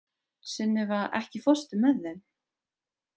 Sunniva, ekki fórstu með þeim?